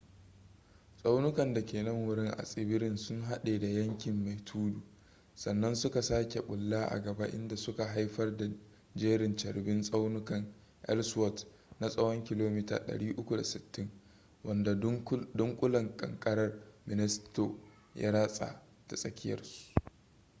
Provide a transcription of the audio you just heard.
tsaunukan da ke nan wurin a tsibirin sun haɗe da yankin mai tudu sannan suka sake bulla a gaba inda suka haifar da jerin carbin tsaunukan elsworth na tsawon kilomita 360 wanda dunkulen ƙanƙarar minnesota ya ratsa ta tsakiyarsu